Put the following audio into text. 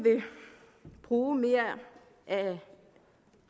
bruge mere af